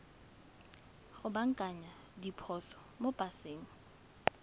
go baakanya diphoso mo paseng